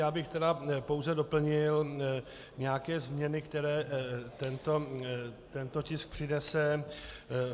Já bych tedy pouze doplnil nějaké změny, které tento tisk přinese.